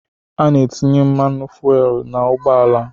A na-etinye mmanụ fuelu n'ụgbọala